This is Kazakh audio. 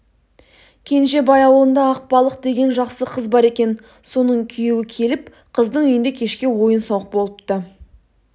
кенжебай аулында ақбалық деген жақсы қыз бар екен соның күйеуі келіп қыздың үйінде кешке ойын-сауық болыпты